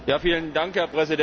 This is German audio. Herr Präsident!